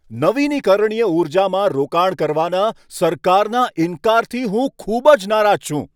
નવીનીકરણીય ઊર્જામાં રોકાણ કરવાના સરકારના ઈનકારથી હું ખૂબ જ નારાજ છું.